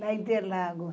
Na Interlagos.